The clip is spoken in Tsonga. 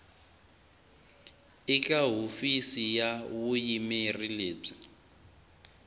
eka hofisi ya vuyimeri lebyi